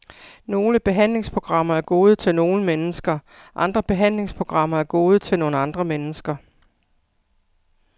Nogle behandlingsprogrammer er gode til nogle mennesker, andre behandlingsprogrammer er gode til nogle andre mennesker.